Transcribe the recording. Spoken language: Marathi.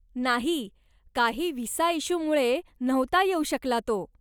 नाही, काही व्हिसा इश्यूमुळे नव्हता येऊ शकला तो.